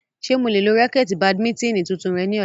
Ṣe mo le lo raketi badimitini tuntun rẹ ni ọla?